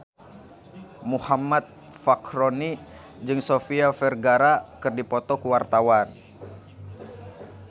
Muhammad Fachroni jeung Sofia Vergara keur dipoto ku wartawan